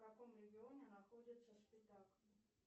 в каком регионе находится спитак